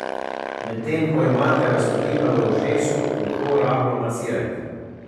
Medtem ko imate raztopino v ušesu, uho rahlo masirajte.